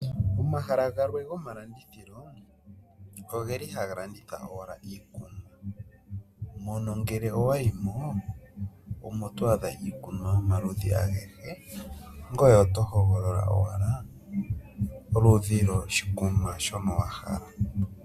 Omahala galwe gomalandithilo ogeli haga landitha owala iikunwa mono ngele owayimo omo to adha iikunwa yomaludhi agehe ngoye oto hogolola owala oludhi lwashikunwa shono wa hala.